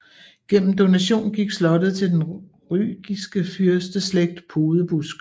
Gennem donation gik slottet til den rygisk fyrsteslægt Podebusk